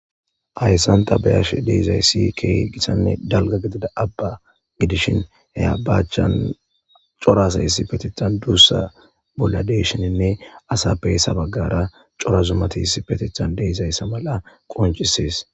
hayssanta bayash deizayssi kee gisanne dalga gidida abba gidishin heyabaachan corasa issi petithan duussa bolla deshininne asappeyssa baggara cora zumatiis petithan deizayssa mala qoncisees